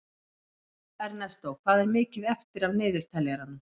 Ernestó, hvað er mikið eftir af niðurteljaranum?